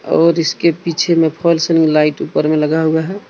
और इसके पीछे में फॉल सीलिंग लाइट ऊपर में लगा हुआ है।